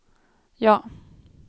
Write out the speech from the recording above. ja